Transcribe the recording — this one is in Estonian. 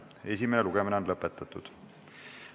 Esimene lugemine on lõpetatud.